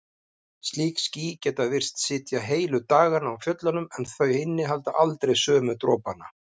Slík ský geta virst sitja heilu dagana á fjöllunum en þau innihalda aldrei sömu dropana.